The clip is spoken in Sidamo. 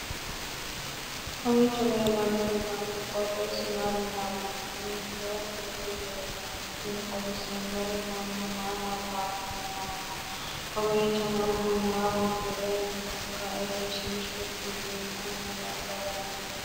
kowiicho leellannori maati ? qooxeessu maa lawaanno ? hiitoo kuuli leellanno ? tini xawissannori mannu maa nabawanni nooikka kowiicho mannu maa uddiranni nooikka egenshshiishu fulinoha nabbawanni nooika